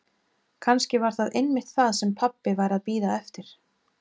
Kannski væri það einmitt það sem pabbi væri að bíða eftir.